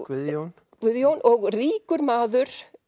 Guðjón Guðjón og ríkur maður